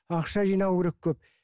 ақша жинау керек көп